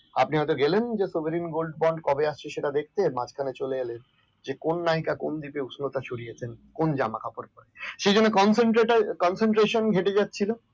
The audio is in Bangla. আপনি হয়তো গেলেন sovereign gold bond কবে আসছে দেখতে মাঝখানে চলে এলেন কোন নায়িকা কোন দেখতে উষ্ণতা ছড়িয়েছে কোন জামাকাপড় পড়ে? সেই জন্য concentrate এ concentration যেটা হচ্ছিল